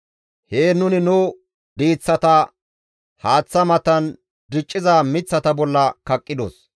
Heen nuni nu diiththata haaththa matan dicciza miththata bolla kaqqidos.